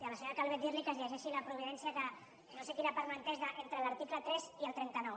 a la senyora calvet dirli que es llegeixi la providència que no sé quina part no ha entès entre l’article tres i el trenta nou